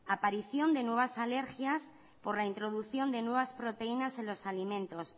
aparición de nuevas alergias por la introducción de nuevas proteínas en los alimentos